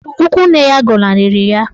Ikwu nne ya gọnarịrị ya.